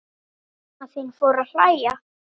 Mamma þín fór að hlæja.